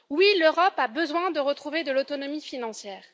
Oui, l'Europe a besoin de retrouver de l'autonomie financière.